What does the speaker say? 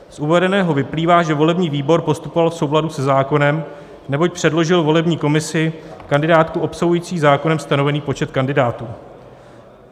Z uvedeného vyplývá, že volební výbor postupoval v souladu se zákonem, neboť předložil volební komisi kandidátku obsahující zákonem stanovený počet kandidátů.